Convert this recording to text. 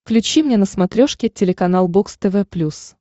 включи мне на смотрешке телеканал бокс тв плюс